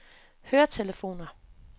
høretelefoner